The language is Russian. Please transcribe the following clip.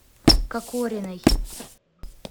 кокориной